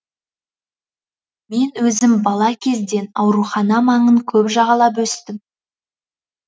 мен өзім бала кезден аурухана маңын көп жағалап өстім